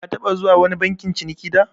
Ka taɓa zuwa wani bankin ciniki da?